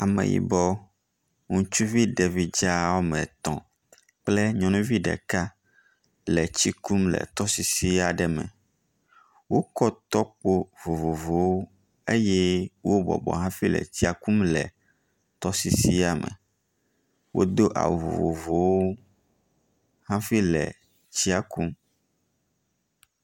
Ameyibɔ ŋutsuvi ɖevi dza wɔme etɔ̃ kple nyɔnuvi ɖeka le tsi kum le tɔsisi aɖe me. Wokɔ tɔkpo vovovowo eye wo bɔbɔ hafi le tsia kum le tɔsisia me. Wodo awu vovovowo hafi le tsia kum.